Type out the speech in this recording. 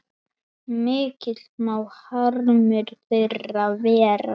Mikill má harmur þeirra vera.